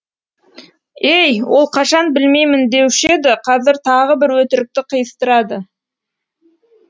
ей ол қашан білмеймін деуші еді қазір тағы бір өтірікті қиыстырады